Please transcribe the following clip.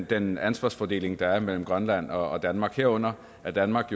den ansvarsfordeling der er mellem grønland og danmark herunder at danmark